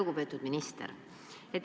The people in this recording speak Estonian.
Lugupeetud minister!